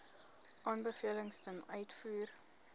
aanbevelings ten uitvoer